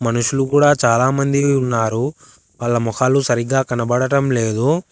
మనుషులు కూడా చాలామంది ఉన్నారు వాళ్ళ మొహాలు సరిగ్గా కనబడటం లేదు.